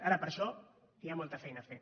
ara per a això hi ha molta feina a fer